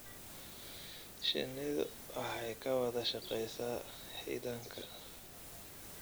Shinnidu waxay ka wada shaqeysaa xiidanka.